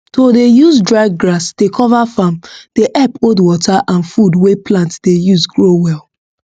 to dey use dry grass dey cover farm dey help hold water and food wey plant dey use grow well